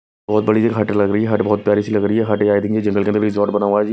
बहोत बड़ी ये हट लग रही है हट बहोत प्यारी सी लग रही है हट ये आई थिंक जंगल के अंदर रिजॉर्ट बना हुआ है जी --